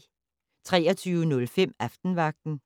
23:05: Aftenvagten